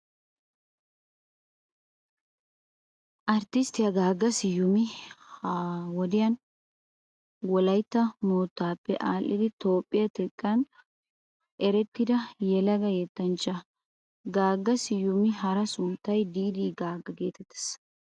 Arttisttiya Gaagga Siyumi ha wodiyan Wolaytta moottaappe aadhdhidi Toophphiyaa xekkan erettida yelaga yettanchcha. Gaagga Siyumawu hara sunttay Diiddi Gaagga geetettees.